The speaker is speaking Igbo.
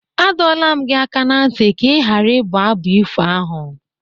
A dọọla m gị aka ná ntị ka ị ghara ịbụ abụ ifo ahụ!